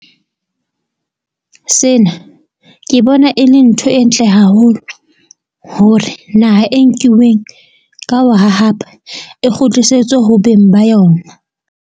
Sena ke bona e le ntho e ntle haholo hore naha e nkiweng ka ho hahapa e kgutlisetswe ho beng ba yona.